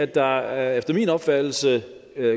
der er efter min opfattelse